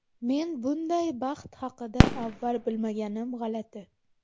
Men bunday baxt haqida avval bilmaganim g‘alati.